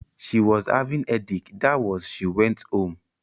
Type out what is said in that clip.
She was having headache that was she went home.